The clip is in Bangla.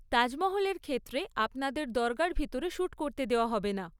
তাজমহলের ক্ষেত্রে আপনাদের দরগার ভিতরে শ্যুট করতে দেওয়া হবে না।